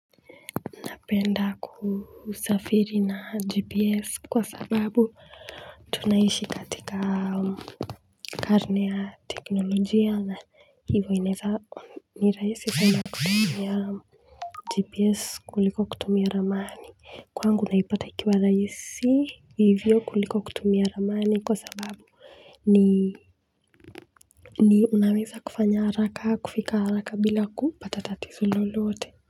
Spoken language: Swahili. Napenda kusafiri na GPS kwa sababu tunaishi katika karne ya teknolojia na hivyo inaweza ni rahisi kwenda kutumia GPS kuliko kutumia ramani kwangu naipata ikiwa rahisi hivyo kuliko kutumia ramani kwa sababu ni ni unaweza kufanya haraka kufika haraka bila kupata tatizo lolote.